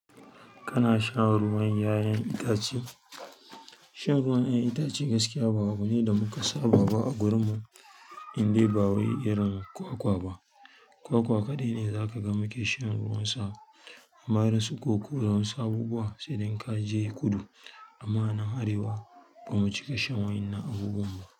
Kana shan ruwan 'ya'yan itace? Shan ruwan 'ya'yan itace gaskiya ba abu ne da muka saba ba a garinmu indai ba wai irin kwakwa ba. Kwakwa kaɗai ne zakaga muke shan ruwansa. Amma irin su koko da wasu abubuwa sai dai kaje kudu amma nan Arewa bamu cika shan waɗannan abubuwan ba.